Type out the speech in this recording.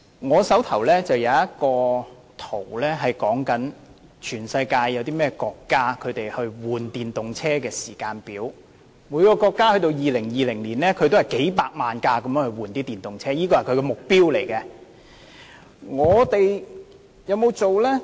我手上這張圖顯示，全球多個國家更換電動車的時間表，至2020年時，各國每年更換電動車的數目均以數百萬輛為目標。